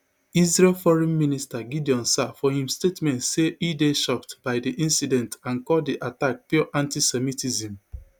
israel foreign minister gideon saar for im statement say e dey shocked by di incident and call di attack pure antisemitism